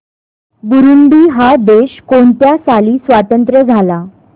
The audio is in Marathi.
बुरुंडी हा देश कोणत्या साली स्वातंत्र्य झाला